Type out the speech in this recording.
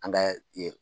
An ka